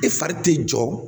E fari tɛ jɔ